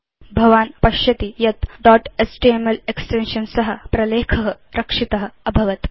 भवान् पश्यति यत् दोत् एचटीएमएल एक्सटेन्शन् सह प्रलेख रक्षित अभवत्